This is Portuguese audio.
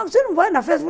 Ah, você não vai na festa?